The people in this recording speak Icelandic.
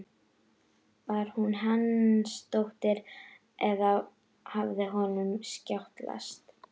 Var hún Hansdóttir eða hafði honum skjátlast?